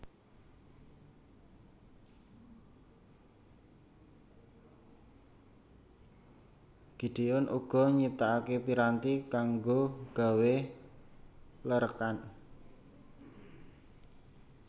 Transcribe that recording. Gideon uga nyiptakake piranti kanggo gawé lerekan